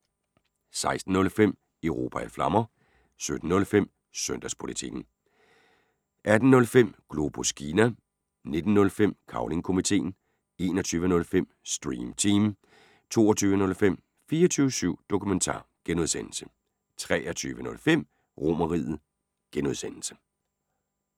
16:05: Europa i Flammer 17:05: Søndagspolitikken 18:05: Globus Kina 19:05: Cavling Komiteen 21:05: Stream Team 22:05: 24syv Dokumentar (G) 23:05: RomerRiget (G)